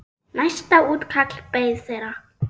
Næsta útkall beið þeirra.